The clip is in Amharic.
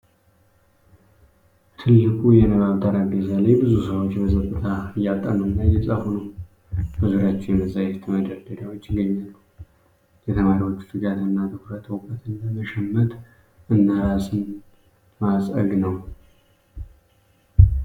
ትልቁ የንባብ ጠረጴዛ ላይ ብዙ ሰዎች በጸጥታ እያጠኑና እየጻፉ ነው። በዙሪያቸው የመጻሕፍት መደርደሪያዎች ይገኛሉ። የተማሪዎቹ ትጋትና ትኩረት እውቀትን ለመሸመት እና ራስን ለማፀግ ነው ።